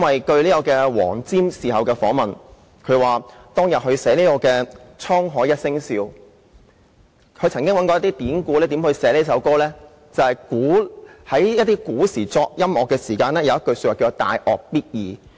據黃霑在事後的訪問表示，他在寫作"滄海一聲笑"一曲時，曾經參考一些典故，看看如何撰寫這歌，他發現古時作曲有一說法，就是"大樂必易"。